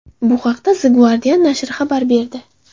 Bu haqda The Guardian nashri xabar berdi .